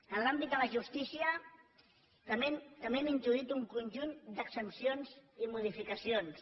en l’àmbit de la justícia també hem introduït un conjunt d’exempcions i modificacions